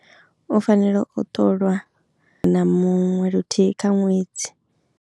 U fanela u ṱolwa na muṅwe luthihi kha ṅwedzi.